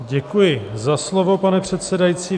Děkuji za slovo, pane předsedající.